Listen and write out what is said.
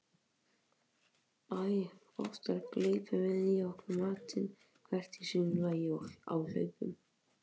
Æ oftar gleypum við í okkur matinn hvert í sínu lagi á hlaupum.